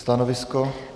Stanovisko?